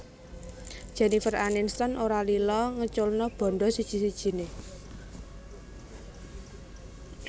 Jennifer Aniston ora lila ngeculno bandha siji sijine